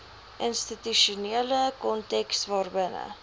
institusionele konteks waarbinne